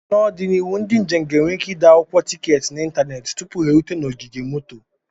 N'ọdịnihu, ndị njem ga-enwe ike ịde akwụkwọ tiketi n'ịntanetị tupu ha erute na ogige moto.